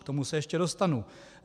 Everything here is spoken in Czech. K tomu se ještě dostanu.